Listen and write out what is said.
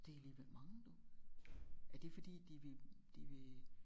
Det alligevel mange du er det fordi de vil de vil